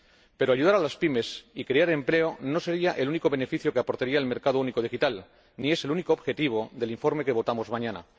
Pero ayudar a las PYME y crear empleo no sería el único beneficio que aportaría el mercado único digital, ni es el único objetivo del informe que votaremos mañana.